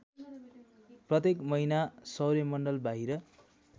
प्रत्येक महिना सौर्यमण्डलबाहिर